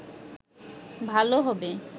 ভালো হবে